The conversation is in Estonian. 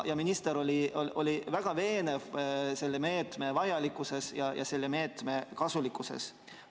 Minister oli väga veendunud selle meetme vajalikkuses ja selle meetme kasulikkuses.